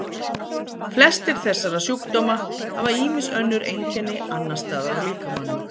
flestir þessara sjúkdóma hafa ýmis önnur einkenni annars staðar á líkamanum